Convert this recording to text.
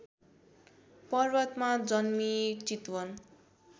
पर्वतमा जन्मिई चितवन